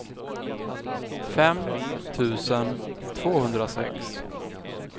fem tusen tvåhundrasex